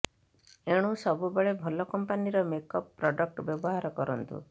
ଏଣୁ ସବୁବେଳେ ଭଲ କମ୍ପାନିର ମେକଅପ୍ ପ୍ରଡ଼କ୍ଟ ବ୍ୟବହାର କରନ୍ତୁ